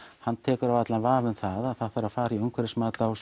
hann tekur allan vafa um það að það þurfi að fara í umhverfismat á